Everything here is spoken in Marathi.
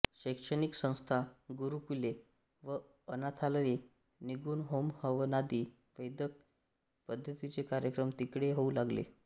शैक्षणिक संस्था गुरुकुले व अनाथालये निघून होमहवनादी वैदिक पद्धतीचे कार्यक्रम तिकडे होऊ लागले